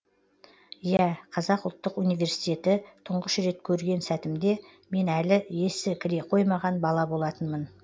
иә қазақ ұлттық университеті тұңғыш рет көрген сәтімде мен әлі есі кіре қоймаған бала болатынмын